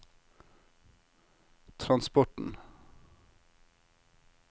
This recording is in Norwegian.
transporten